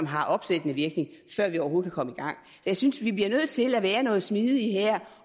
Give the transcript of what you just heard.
har opsættende virkning før vi overhovedet kan komme i gang jeg synes vi bliver nødt til at være noget smidige her